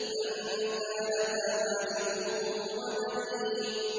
أَن كَانَ ذَا مَالٍ وَبَنِينَ